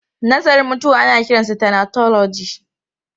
Nazarin mutuwa ana kiransa thanatology.